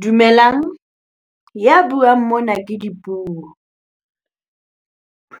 Dumelang, ya buang mona ke Dipuo.